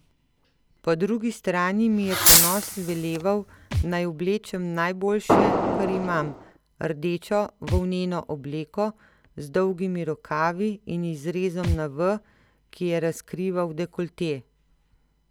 Po drugi strani mi je ponos veleval, naj oblečem najboljše, kar imam, rdečo volneno obleko z dolgimi rokavi in izrezom na V, ki je razkrival dekolte.